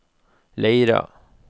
Leira